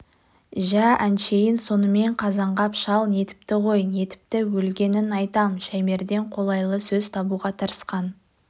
жә әншейін сонымен қазанғап шал нетіпті ғой нетіпті өлгенін айтам шаймерден қолайлы сөз табуға тырысқан